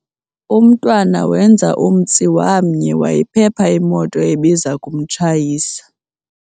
Umntwana wenza umtsi wamnye wayiphepha imoto ebiza kumtshayisa.